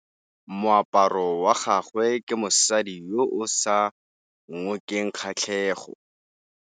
Moaparô wa gagwe ke wa mosadi yo o sa ngôkeng kgatlhegô.